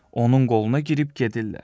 Onun qoluna girib gedirlər.